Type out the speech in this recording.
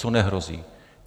Co nehrozí?